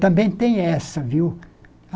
Também tem essa, viu?